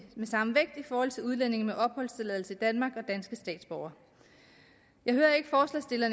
den samme vægt i forhold til udlændinge med opholdstilladelse i danmark og danske statsborgere jeg hører